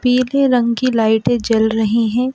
पीले रंग की लाइटें जल रहीं हैं।